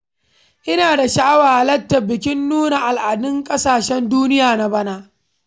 Ina da sha'awar halatar bikin nuna al'adun ƙasashen duniya na bana